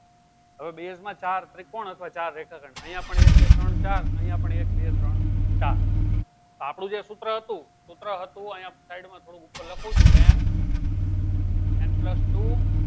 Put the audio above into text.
હવે base માં ચાર ત્રિકોણ અથવા ચાર રેખા ખંડ એક બે ત્રણ ચાર અયીયા પણ એક બે ત્રણ ચાર આપડું જે સુત્ર હતું સુત્ર હતું અયીયા side માં થોડું લખું છું nn ટુ